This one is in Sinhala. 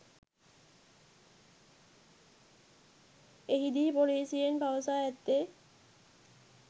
එහිදී පොලීසියෙන් පවසා ඇත්තේ